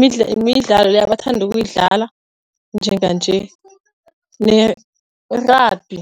Midlalo midlalo le ebathanda ukuyidlala njenganje nerabhi.